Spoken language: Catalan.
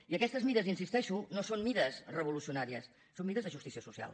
i aquestes mesures hi insisteixo no són mesures revolucionàries són mesures de justícia social